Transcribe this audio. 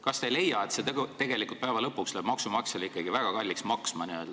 Kas te ei leia, et see läheb päeva lõpuks maksumaksjale ikkagi väga kalliks maksma?